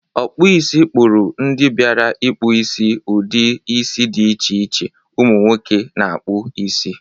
Ọkpọisi kpọrụ ndị biara ịkpụ isi ụdị isi dị iche iche umụ nwoke na-akpụ isi.